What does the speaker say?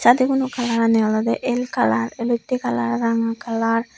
deguno kalarani olodey el kalar elottey kalar ranga kalar.